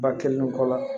Ba kelen nun kɔ la